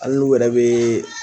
Hali n'u yɛrɛ be